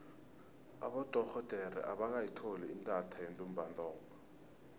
abodorhodere abakayitholi intatha yentumbantonga